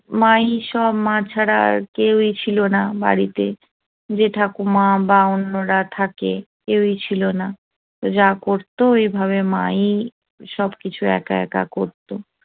মা ই সব মা ছাড়া আর কেউই ছিল না বাড়িতে যে ঠাকুমা বা অন্যরা থাকে কেউই ছিল না যা করত ওইভাবে মা ই সবকিছু একা একা করতো